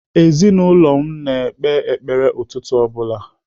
Ezinaụlọ anyị na-ekpe ekpere ụtụtụ ọ bụla.